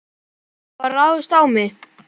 Það var ráðist á mig.